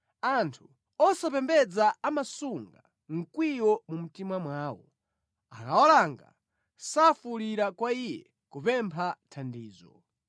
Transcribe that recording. “Anthu osapembedza amasunga mkwiyo mu mtima mwawo; akawalanga, safuwulira kwa Iye kupempha thandizo.